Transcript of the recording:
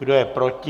Kdo je proti?